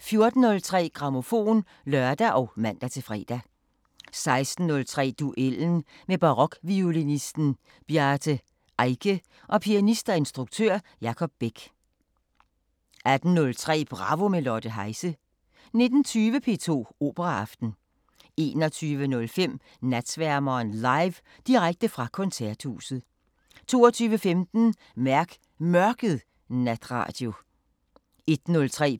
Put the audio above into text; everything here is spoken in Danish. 14:03: Grammofon (lør og man-fre) 16:03: Duellen – med barokviolinisten Bjarte Eike og pianist og instruktør Jacob Beck 18:03: Bravo – med Lotte Heise 19:20: P2 Operaaften 21:05: Natsværmeren LIVE – direkte fra Koncerthuset 22:15: Mærk Mørket natradio 01:03: